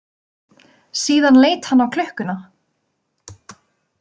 Síðan leit hann á klukkuna.